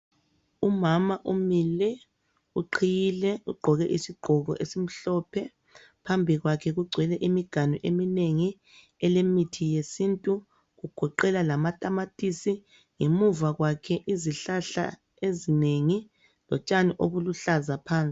Umama umile uqhiyile, ugqoke isigqoko esimhlophe. Phambi kwakhe kugcwele imiganu eminengi elemithi yesintu kugoqela lamatamatisi ngemuva kwakhe izihlahla ezinengi lotshani obuluhlaza phansi.